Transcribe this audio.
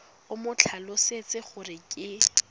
o mo tlhalosetse gore ke